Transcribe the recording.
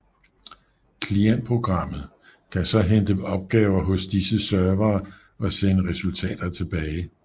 Klientprogrammet kan så hente opgaver hos disse servere og sende resultater tilbage